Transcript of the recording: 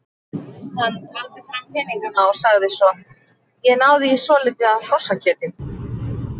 Hann taldi fram peningana og sagði svo: Ég náði í svolítið af hrossakjöti.